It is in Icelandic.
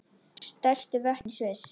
Stærstu vötn í Sviss